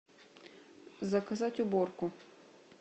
заказать уборку